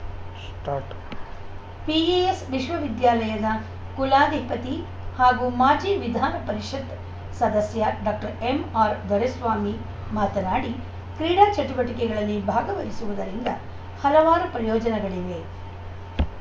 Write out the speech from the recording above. start PES ವಿಶ್ವವಿದ್ಯಾಲಯದ ಕುಲಾಧಿಪತಿ ಹಾಗೂ ಮಾಜಿ ವಿಧಾನ ಪರಿಷತ್ತು ಸದಸ್ಯ ಡಾಕ್ಟರ್ ಎಂಆರ್‌ದೊರೆಸ್ವಾಮಿ ಮಾತನಾಡಿ ಕ್ರೀಡಾ ಚಟುವಟಿಕೆಗಳಲ್ಲಿ ಭಾಗವಹಿಸುವುದರಿಂದ ಹಲವಾರು ಪ್ರಯೋಜನಗಳಿವೆ